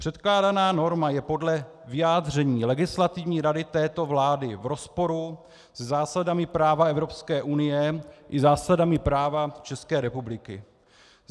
Předkládaná norma je podle vyjádření Legislativní rady této vlády v rozporu se zásadami práva Evropské unie i zásadami práva České republiky.